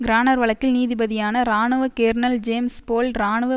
கிரானர் வழக்கில் நீதிபதியான இராணுவ கேர்னல் ஜேம்ஸ் போல் இராணுவ